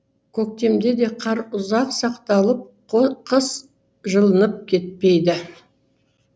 көктемде де қар ұзақ сақталып қыс жылынып кетпейді